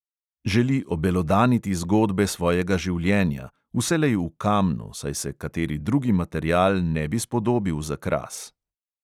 Želi obelodaniti zgodbe svojega življenja, vselej v kamnu, saj se kateri drugi material ne bi spodobil za kras.